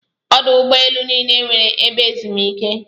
Ọdụ ụgbọ elu niile nweere ebe ezumike.